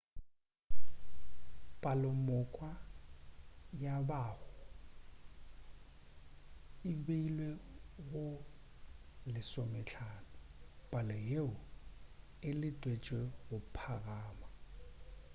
palomoka ya mahu e beilwe go 15 palo yeo e letetšwego go phagama